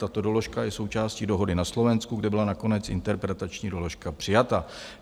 Tato doložka je součástí dohody na Slovensku, kde byla nakonec interpretační doložka přijata.